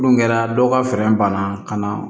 Minnu kɛra dɔ ka fɛɛrɛ banna ka na